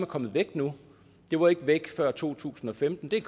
kommet væk nu det var ikke væk før to tusind og femten det er